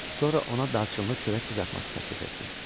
Sonra ona darçınlı çörək qızartması təklif etdim.